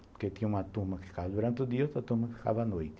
Porque tinha uma turma que ficava durante o dia e outra turma que ficava à noite.